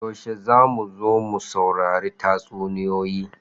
Yaushe za mu zo mu saurari tatsuniyoyi?